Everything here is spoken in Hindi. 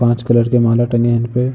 पाँच कलर की माला टंगी है इन पे ।